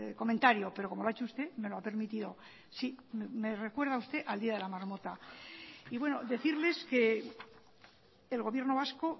comentario pero como lo ha hecho usted me lo ha permitido sí me recuerda usted al día de la marmota y bueno decirles que el gobierno vasco